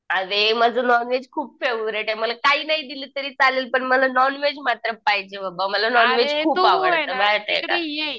अरे माझं नॉनव्हेज खूप फेव्हरेट आहे. मला काही नाही दिलं तरी चालेल पण मला नॉनव्हेज मात्र पाहिजे बाबा मला नॉनव्हेज खूप आवडतं माहिती आहे का?